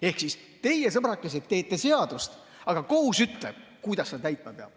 Ehk siis teie, sõbrakesed, teete seadust, aga kohus ütleb, kuidas seda täitma peab.